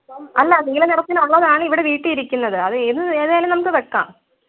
അല്ല നീല നിറത്തിലുള്ളതാണ് ഇവിടെ വീട്ടി ഇരിക്കുന്നത് അത് ഏത് ഏതായാലും നമുക്ക് വെക്കാം